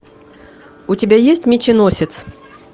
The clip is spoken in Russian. у тебя есть меченосец